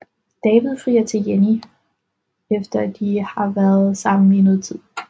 David frier til Jenny efter de har været sammen i noget tid